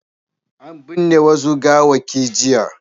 An binne wasu gawawwaki jiya.